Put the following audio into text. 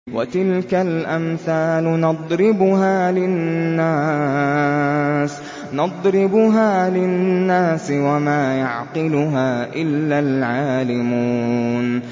وَتِلْكَ الْأَمْثَالُ نَضْرِبُهَا لِلنَّاسِ ۖ وَمَا يَعْقِلُهَا إِلَّا الْعَالِمُونَ